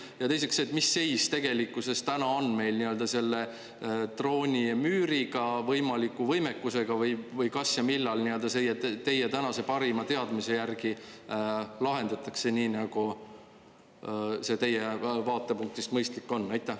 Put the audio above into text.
Ja teiseks see, et mis seis tegelikkuses täna on meil nii-öelda selle droonimüüriga, võimaliku võimekusega või kas ja millal nii-öelda see teie tänase parima teadmise järgi lahendatakse, nii nagu see teie vaatepunktist mõistlik on?